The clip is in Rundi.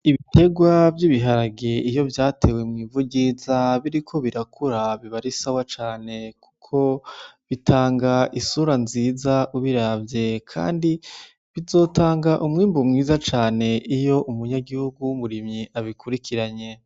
Ibiterwa vy'ibiharage iyo vyatewe mu ivu ryiza biriko birakura, biba ari sawa cane kuko bitanga isura nziza ubiravye. Kandi bizotanga umwimbu mwiza cane iyo umunyagihugu w'umurimyi abikurikiranye."